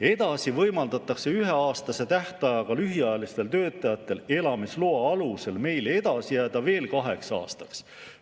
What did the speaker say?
Edasi võimaldatakse üheaastase tähtajaga lühiajalistel töötajatel elamisloa alusel meile edasi jääda veel kaheks aastaks.